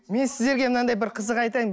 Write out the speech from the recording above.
мен сіздерге мынандай бір қызық айтайын